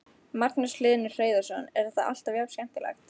Magnús Hlynur Hreiðarsson: Er þetta alltaf jafn skemmtilegt?